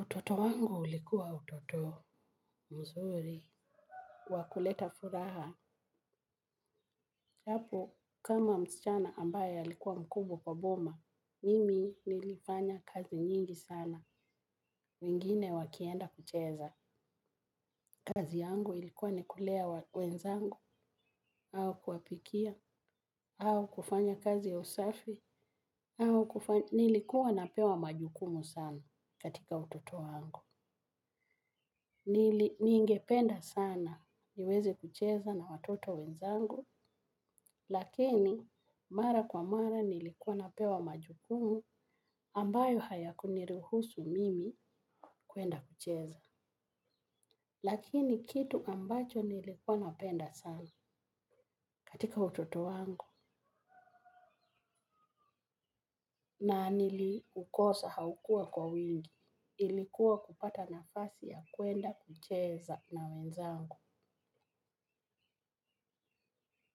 Utoto wangu ulikuwa utoto mzuri. Wakuleta furaha. Hapo kama msichana ambaye alikuwa mkubwa kwa boma mimi nilifanya kazi nyingi sana. Wengine wakienda kucheza. Kazi yangu ilikuwa ni kulea wenzangu. Au kuwapikia. Au kufanya kazi ya usafi. Au kufanya. Nilikuwa napewa majukumu sana katika utoto wangu. Ningependa sana niweze kucheza na watoto wenzangu lakini mara kwa mara nilikuwa napewa majukumu ambayo hayaku niruhusu mimi kuenda kucheza. Lakini kitu ambacho nilikuwa napenda sana katika utoto wangu na nili ukosa haukua kwa wingi, ilikuwa kupata nafasi ya kuenda kucheza na wenzangu.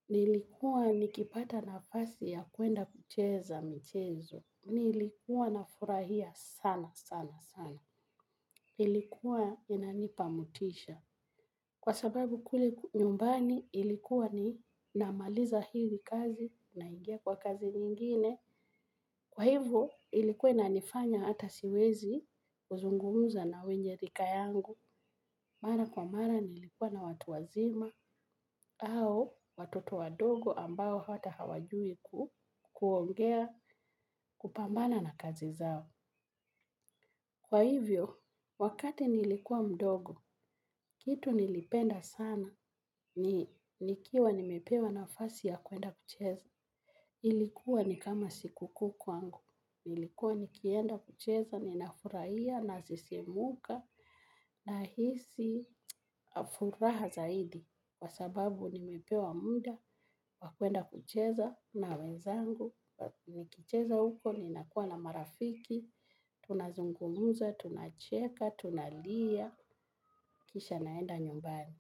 Nilikuwa nikipata nafasi ya kuenda kucheza michezo. Nilikuwa na furahia sana sana sana. Ilikuwa inanipa motisha. Kwa sababu kule nyumbani ilikuwa ni namaliza hili kazi na ingia kwa kazi nyingine. Kwa hivyo ilikuwa ina nifanya hata siwezi zungumza na wenye rika yangu, mara kwa mara nilikuwa na watu wazima au watoto wadogo ambao hata hawajui kuongea kupambana na kazi zao. Kwa hivyo, wakati nilikuwa mdogo, kitu nilipenda sana ni nikiwa nimepewa nafasi ya kuenda kucheza. Ilikuwa ni kama sikuku kwangu. Nilikuwa nikienda kucheza ninafurahia nasisimuka nahisi furaha zaidi. Kwa sababu nimepewa muda wa kuenda kucheza na wenzangu. Nikicheza huko ninakua na marafiki tunazungumza tunacheka tunalia kisha naenda nyumbani.